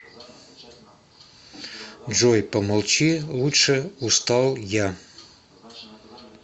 джой помолчи лучше устал я